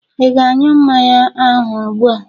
Ị ga añyu mmanya ahụ ụgbua?